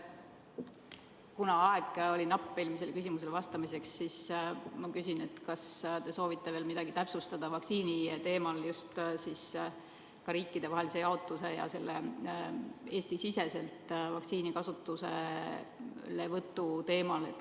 Kuna aeg oli napp eelmisele küsimusele vastamiseks, siis ma küsin, kas te soovite veel midagi täpsustada vaktsiini teemal, just riikidevahelise jaotuse ja Eesti-siseselt vaktsiini kasutuselevõtu teemal.